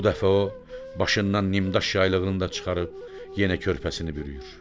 Bu dəfə o başından nimdaş yaylığını da çıxarıb, yenə körpəsini bürüyür.